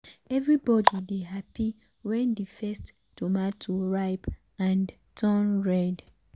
everybody dey happy when the first tomato ripe and turn red.